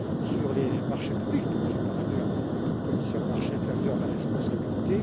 sur les marchés publics, dont j'ai, par ailleurs, comme commissaire au marché intérieur, la responsabilité.